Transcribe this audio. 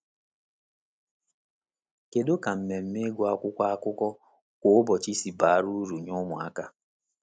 Kedu ka mmemme ịgụ akwụkwọ akụkọ kwa ụbọchị si bara uru nye ụmụaka?